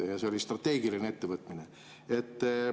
Ja see oli strateegiline ettevõtmine.